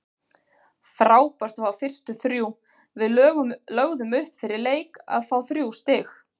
Frábært að fá fyrstu þrjú, við lögðum upp fyrir leik að fá þrjú stig.